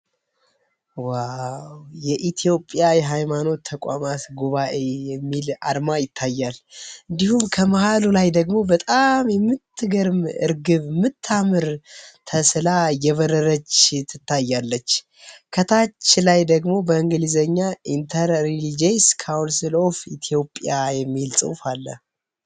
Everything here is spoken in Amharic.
የኢትዮጵያ የሃይማኖት ተቋማት ጉባኤ የሚል አርማ ይታያል እንዲሁም ከመሃል ላይ በጣም የምትገርም እርግብ የምታምር ተስላ እየበረረች ትታያለች። ከታች ደግሞ በእንግሊዝኛ የተፃፈ ጽሑፋ አለ።